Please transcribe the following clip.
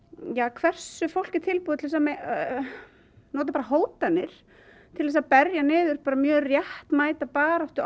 hversu fólk er tilbúið til að nota hótanir til að berja niður mjög réttmæta baráttu